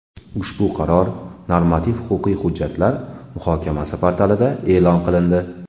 Ushbu qaror Normativ-huquqiy hujjatlar muhokamasi portalida e’lon qilindi.